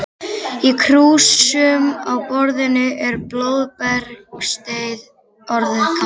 Í krúsum á borðinu er blóðbergsteið orðið kalt.